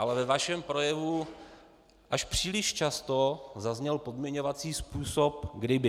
Ale ve vašem projevu až příliš často zazněl podmiňovací způsob kdyby.